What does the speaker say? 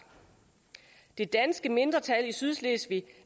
det danske mindretal i sydslesvig